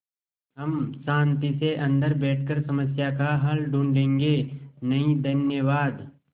हम शान्ति से अन्दर बैठकर समस्या का हल ढूँढ़े गे नहीं धन्यवाद